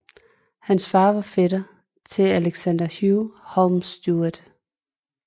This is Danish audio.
Hans far var fætter til Alexander Hugh Holmes Stuart